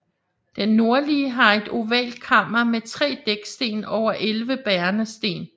Den nordlige har et ovalt kammer med 3 dæksten over 11 bærende sten